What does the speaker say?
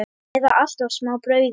Eða alltaf smá brauði?